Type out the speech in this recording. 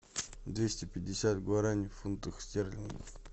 двести пятьдесят гуарани в фунтах стерлингах